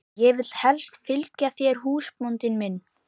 Ég vil helst fylgja þér húsbóndi minn.